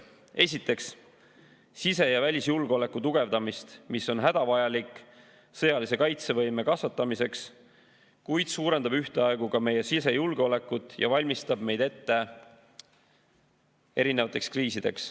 Esiteks, sise- ja välisjulgeoleku tugevdamine, mis on hädavajalik sõjalise kaitsevõime kasvatamiseks, kuid suurendab ühtaegu ka meie sisejulgeolekut ja valmistab meid ette kriisideks.